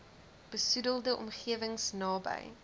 besoedelde omgewings naby